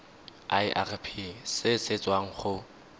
irp se se tswang go